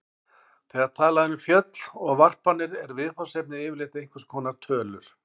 Þegar talað er um föll og varpanir er viðfangsefnið yfirleitt einhvers konar tölur.